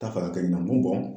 Ta fɛ a ka kɛ ɲɛna, n b'u dɔn